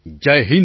Shri Hari જી